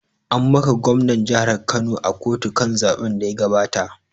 An maka gwamnan jihar Kano a kotu kan zaɓen da ya gabata